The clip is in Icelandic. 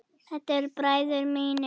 Þetta eru bræður mínir.